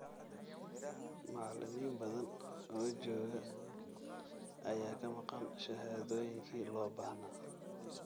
Macallimiin badan oo jooga ayaa ka maqan shahaadooyinkii loo baahnaa.